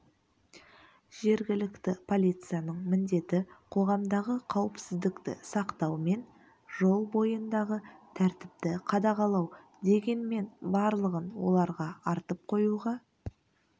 жергілікті полицияның міндеті қоғамдағы қауіпсіздікті сақтау мен жол бойындағы тәртіпті қадағалау дегенмен барлығын оларға артып қоюға